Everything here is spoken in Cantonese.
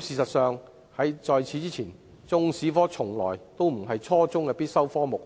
事實上，在此之前，中史科從來都不是初中的必修科目，